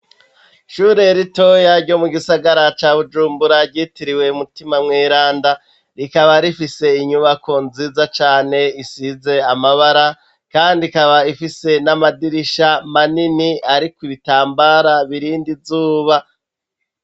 Ishure ritoya ryo mu gisagara ca bujumbura ryitiriwe umutima mwiranda rikaba rifise inyubako nziza cane isize amabara, kandi ikaba ifise n'amadirisha manini, ariko ibitambara birindi zuba.